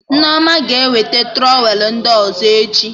Nneoma ga-eweta trọwelụ ndị ọzọ echi